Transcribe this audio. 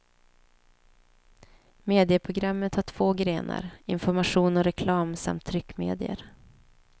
Medieprogrammet har två grenar, information och reklam samt tryckmedier.